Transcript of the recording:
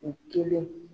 U kelen